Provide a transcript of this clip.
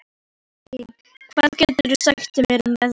Kirsten, hvað geturðu sagt mér um veðrið?